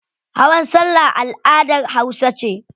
Hawan salla al'adar hausa ce.